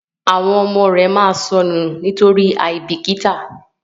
àwọn ọmọ rẹ má sọnù nitori aibikita,